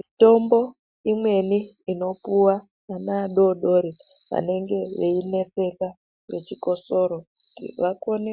Mitombo imweni inopuwa ana adoodori vanenge veineseka ngechikosoro kuti vakone